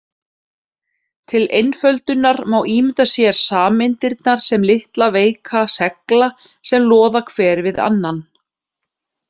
Til einföldunar má ímynda sér sameindirnar sem litla veika segla sem loða hver við annan.